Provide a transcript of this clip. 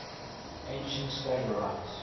ancient stagirites